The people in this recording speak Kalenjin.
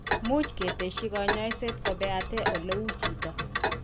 Much ketesyi kanyoiset ko beate ole u chito.